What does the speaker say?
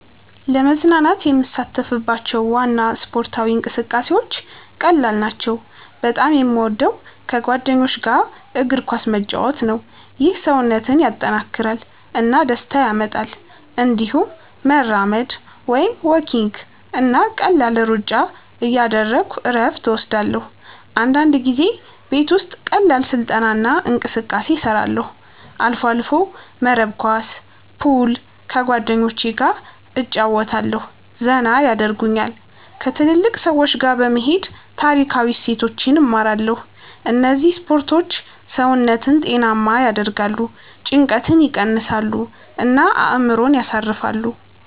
ለመዝናናት የምሳተፍባቸው ዋና ስፖርታዊ እንቅስቃሴዎች ቀላል ናቸው። በጣም የምወደው ከጓደኞች ጋር እግር ኳስ መጫወት ነው። ይህ ሰውነትን ያጠናክራል እና ደስታ ያመጣል። እንዲሁም መራመድ (walking) እና ቀላል ሩጫ እያደረግሁ እረፍት እወስዳለሁ። አንዳንድ ጊዜ ቤት ውስጥ ቀላል ስልጠና እና እንቅስቃሴ እሰራለሁ። አልፎ አልፎ መረብ ኳስ፣ ፑል ከጓደኞቸ ገ እጨረወታለሁ ዘና የደርጉኛል። ከትልልቅ ሰዎች ጋ በመሄድ ታሪካዊ እሴቶችን እማራለሁ እነዚህ ስፖርቶች ሰውነትን ጤናማ ያደርጋሉ፣ ጭንቀትን ይቀንሳሉ እና አእምሮን ያሳርፋሉ።